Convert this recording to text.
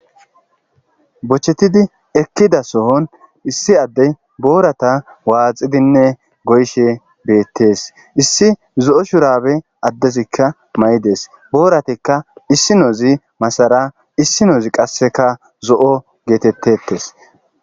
bochettidi ekkida sohon issi addey boorata waaxidinne goyshe beettees issi zo7o shurabe addezikka may7idees booratekka issi noozi masara issi noozi qasseka zo7o geetettetes